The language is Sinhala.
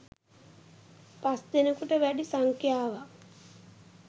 පස්දෙනකුට වැඩි සංඛ්‍යාවක්